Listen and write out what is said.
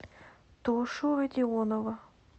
тошу родионова